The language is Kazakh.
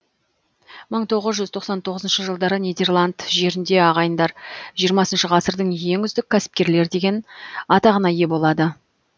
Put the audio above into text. мың тоғыз жүз тоқсан тоғызыншы жылдары нидерланд жерінде ағайындар жиырмасыншы ғасырдың ең үздік кәсіпкерлер деген атаққа ие болады